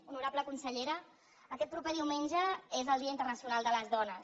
honorable consellera aquest proper diumenge és el dia internacional de les dones